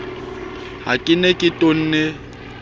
ha ke ne ke tonne